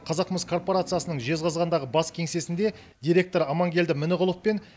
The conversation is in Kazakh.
қазақмыс корпорациясының жезқазғандағы бас кеңсесінде директор амангелді мініғұлов пен